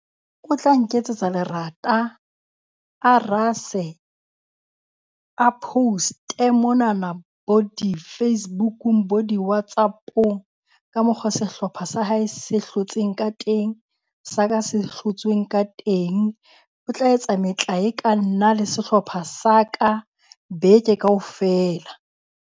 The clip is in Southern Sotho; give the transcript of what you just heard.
O tla nketsetsa lerata, a rase, a post-e monana bo di-Facebook-ung bo di WhatsApp-ong, ka mokgwa sehlopha sa hae se hlotseng ka teng, sa ka se hlotsweng ka teng. O tla etsa metlae ka nna le sehlopha sa ka beke kaofela.